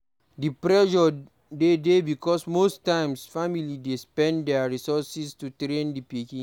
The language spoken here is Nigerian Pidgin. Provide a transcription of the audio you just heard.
Di pressure de dey because most times family dey spend their resources to train di pikin